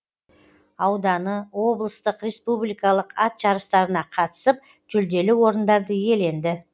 ауданы облыстық республикалық ат жарыстарына қатысып жүлделі орындарды иеленді